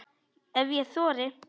Ef ég þori.